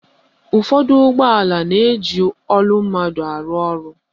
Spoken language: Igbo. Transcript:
Ụfọdụ ụgbọala na-eji olu mmadụ arụ ọrụ.